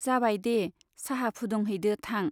जाबाय दे, चाहा फुदुंहैदो थां।